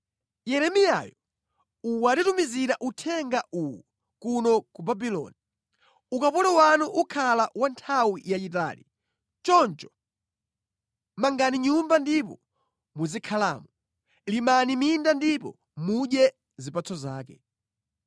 Yeremiyayo watitumizira uthenga uwu kuno ku Babuloni: Ukapolo wanu ukhala wa nthawi yayitali. Choncho mangani nyumba ndipo muzikhalamo; limani minda ndipo mudye zipatso zake.’ ”